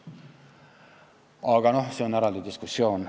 Aga see on eraldi diskussioon.